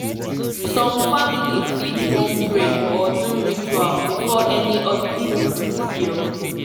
some families fit wan pray or do ritual before any hospital procedure